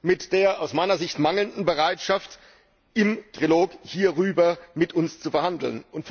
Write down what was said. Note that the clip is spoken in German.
mit der aus meiner Sicht fehlenden Bereitschaft, im Trilog hierüber mit uns zu verhandeln.